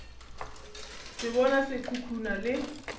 se bona se khukhuna le